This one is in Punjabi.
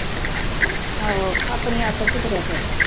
ਆਹੋ ਆਪਣੀ ਆਕੜ ਚ ਤੁਰਿਆ ਫਿਰਦਾ।